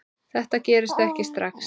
Þetta gerist ekki strax.